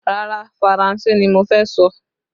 Rárá, Faranse ni mo fẹ́ sọ